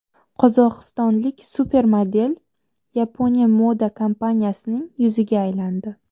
Qozog‘istonlik supermodel Yaponiya moda kompaniyasining yuziga aylandi.